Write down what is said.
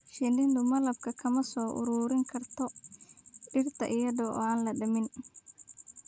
Shinnidu malabka kama soo ururin karto dhirta iyada oo aan la damin.